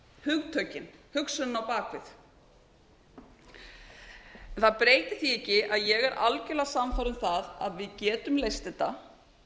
hugtökin hugsunina á bak við það breytir því ekki að ég er algjörlega sannfærð um það að við getum leyst þetta